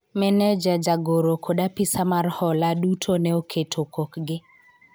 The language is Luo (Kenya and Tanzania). Maneja ,jagoro kod apisa mar hola duto ne oketo kokgi